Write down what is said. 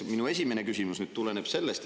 Minu esimene küsimus tuleneb sellest.